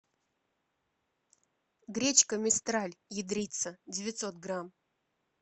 гречка мистраль ядрица девятьсот грамм